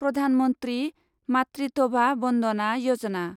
प्रधान मन्थ्रि माट्रिटभा बन्दना यजना